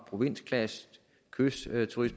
provins clash et kystturisme